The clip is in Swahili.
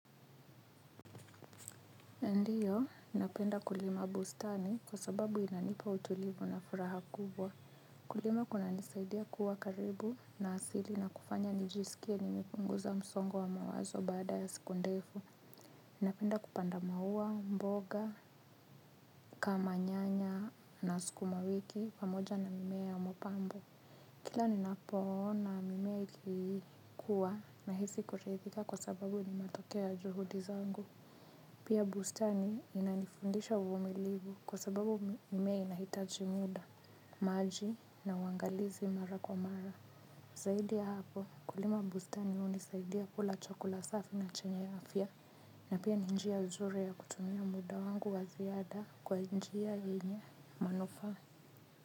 Ndio, napenda kulima bustani kwa sababu inanipa utulivu na furaha kubwa. Kulima kunanisaidia kuwa karibu na asili na kufanya nijisikie nimepunguza msongo wa mawazo baada ya siku ndefu. Napenda kupanda maua, mboga, kama nyanya na sukumawiki pamoja na mimea ya mapambo. Kila ninapoona mimea ikikuwa nahisi kuridhika kwa sababu ni matokeo ya juhudi zangu. Pia bustani inanifundisha uvumilivu kwa sababu mimea inahitaji muda, maji na uangalizi mara kwa mara. Zaidi ya hapo kulima bustani hunisaidia kula chakula safi na chenye afya. Na pia ni njia nzuri ya kutumia muda wangu wa ziada kwa njia yenye manufaa.